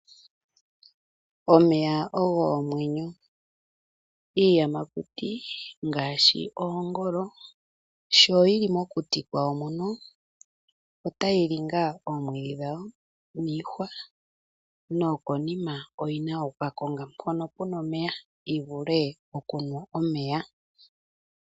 Omeya ogo omwenyo, iiyamakuti ngaashi oongolo sho yii mokuti kwayo mono otayili ngaa omwiidhi dhawo niihwa nokonima oyina okukakonga mpono puna omeya yivule okunwa omeya.